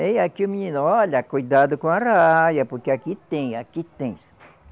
Aí aqui o menino, olha, cuidado com a arraia, porque aqui tem, aqui tem.